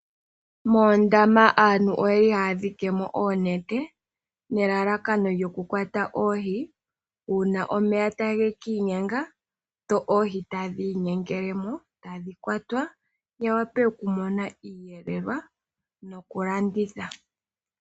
Moondama aantu oyeli haya dhikimo oonete nelalakano lyoku kwata oohi uuna omeya tage ki inyenga dho oohi tadhi inyengelemo tadhi kwatwa ya wape okumona iiyelelwa noku landithwa.